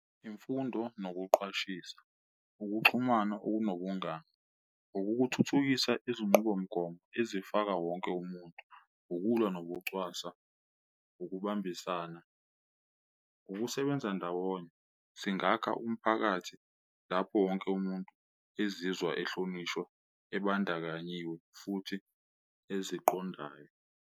Imfundo nokuqwashisa, ukuxhumana okunobungani, ukukuthuthukisa izinqubomgomo ezifaka wonke umuntu, ukulwa nokucwasa, ukubambisana, ukusebenza ndawonye. Singakha umphakathi lapho wonke umuntu ezizwa ehlonishwa ebandakanyiwe futhi eziqondayo.